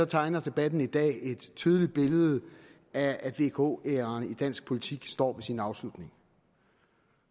tegner debatten i dag et tydeligt billede af at vk æraen i dansk politik står ved sin afslutning